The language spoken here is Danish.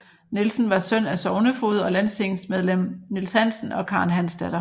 Nielsen var søn af sognefoged og landstingsmedlem Niels Hansen og Karen Hansdatter